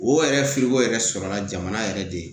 O yɛrɛ firigo yɛrɛ sɔrɔla jamana yɛrɛ de